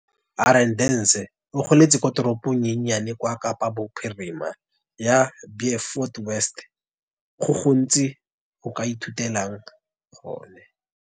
Arendse o goletse ko teropong e nnye ya kwa Kapa Bophirima ya Beaufort West. Go gontsi go ke ithutileng gone.